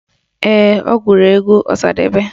Ee, ọ gụrụ egwu Ọsadebe